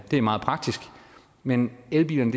er meget praktisk men elbilerne